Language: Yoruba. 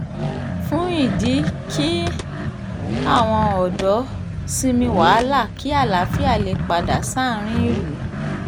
fún ìdí kí àwọn ọ̀dọ́ sinmi wàhálà kí àlàáfíà lè padà sáárín ìlú